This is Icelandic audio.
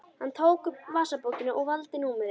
Hann tók upp vasabókina og valdi númerið.